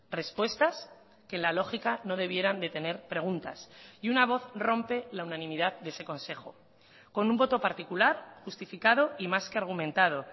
respuestas que la lógica no debieran de tener preguntas y una voz rompe la unanimidad de ese consejo con un voto particular justificado y más que argumentado